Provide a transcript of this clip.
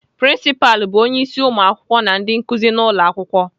Prinsipalụ bụ onyeisi ụmụakwụkwọ na ndị nkuzi n'ụlọakwụkwọ.